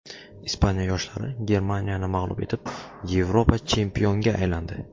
Ispaniya yoshlari Germaniyani mag‘lub etib, Yevropa chempionga aylandi .